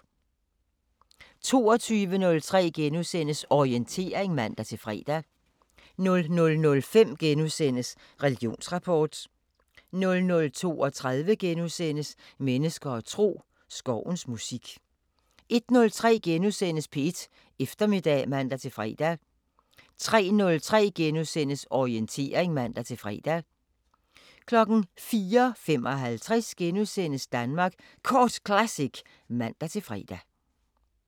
22:03: Orientering *(man-fre) 00:05: Religionsrapport * 00:32: Mennesker og tro: Skovens musik * 01:03: P1 Eftermiddag *(man-fre) 03:03: Orientering *(man-fre) 04:55: Danmark Kort Classic *(man-fre)